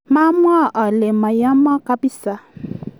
ma mwa ale mayema kabisa